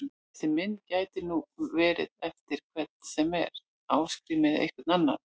Þessi mynd gæti nú verið eftir hvern sem er, Ásgrím eða einhvern annan!